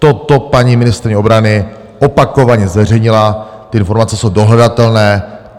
Toto paní ministryně obrany opakovaně zveřejnila, ty informace jsou dohledatelné.